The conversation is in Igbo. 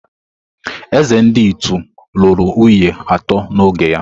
Eze ndi Ịtu lụrụ nwunye atọ n’oge ya.